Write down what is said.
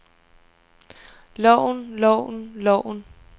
loven loven loven